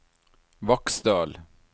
Vaksdal